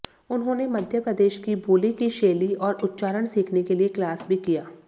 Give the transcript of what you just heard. उन्होंने मध्य प्रदेश की बोली की शैली और उच्चारण सीखने के लिए क्लास भी किया